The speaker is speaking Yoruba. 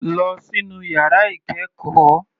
Lọ sínú yàrá ìkẹ́ẹ̀kọ́.